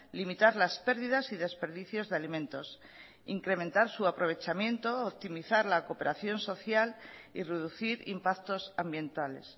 limitar las pérdidas y desperdicios de alimentos incrementar su aprovechamiento optimizar la cooperación social y reducir impactos ambientales